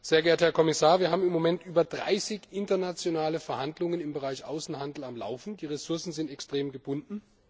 Sehr geehrter Herr Kommissar, wir haben im Moment über 30 internationale Verhandlungen im Bereich Außenhandel am Laufen, die Ressourcen sind extrem gebunden.